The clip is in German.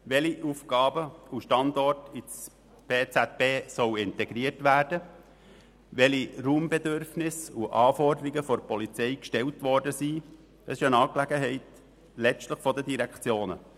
Welche Aufgaben und Standorte ins PZB integriert werden sollen, welche Raumbedürfnisse und Anforderungen von der Polizei gestellt worden sind, ist letztlich eine Angelegenheit der Direktionen.